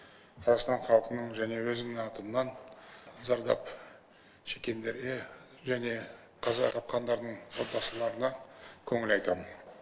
қазақстан халқының және өзімнің атымнан зардап шеккендерге және қаза тапқандардың отбасыларына көңіл айтам